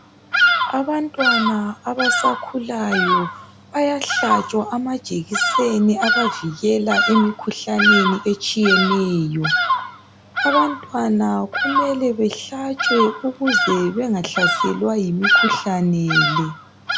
Abantwana abasakhulayo bayahlatshwa amajekiseni abavikela emikhuhlaneni etshiyeneyo. Abantwana kumele behlatshwe ukuze bengahlaselwa yimikhuhlane le.